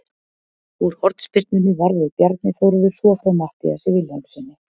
Úr hornspyrnunni varði Bjarni Þórður svo frá Matthíasi Vilhjálmssyni.